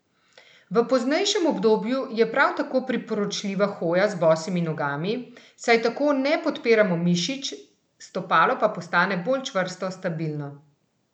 V poznejšem obdobju je prav tako priporočljiva hoja z bosimi nogami, saj tako ne podpiramo mišic, stopalo pa postane bolj čvrsto, stabilno.